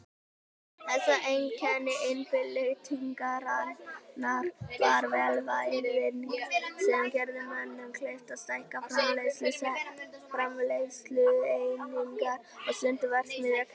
Helsta einkenni iðnbyltingarinnar var vélvæðing sem gerði mönnum kleift að stækka framleiðslueiningar og stunda verksmiðjurekstur.